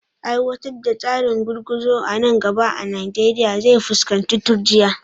Aiwatar da tsarin gurguzu a nan gaba a Najeriya zai fuskanci turjiya